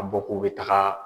a bɔ k'o bɛ taga